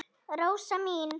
Rósa mín.